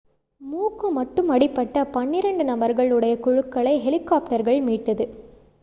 மூக்கு மட்டும் அடிபட்ட பன்னிரண்டு நபர்கள் உடைய குழுக்களை ஹெலிகாப்டர்கள் மீட்டது